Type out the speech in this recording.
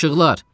İşıqlar.